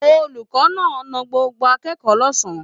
Olùkọ́ náà na gbogbo akẹ́kọ̀ọ́ lọ̀sán.